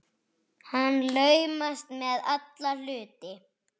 Hann laumast með alla hluti.